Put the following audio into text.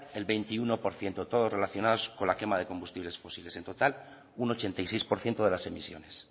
el veintiuno por ciento todos relacionados con la quema de combustibles fósiles en total un ochenta y seis por ciento de las emisiones